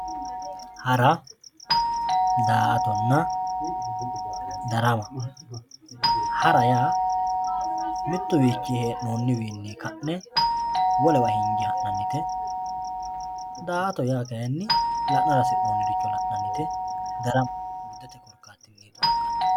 Hara, daa"attonna ,darama ,hara yaa mituwinni hee'noniwinni ka'ne wolewa hinge ha'nannite, daa"atto yaa kayinni la'nara hasi'nonniricho la'nannite, darama urdetenni darame xoonqannite.